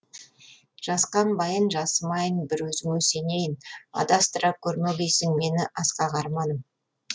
жасқанбайын жасымайын бір өзіңе сенейін адастыра көрмегейсің мені асқақ арманым